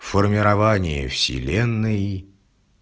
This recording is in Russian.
формирование вселенной